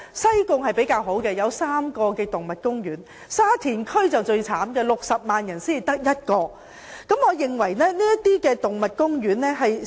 西貢區較好，有3個動物公園，沙田區就最可憐，該區有60萬人口但只有1個動物公園。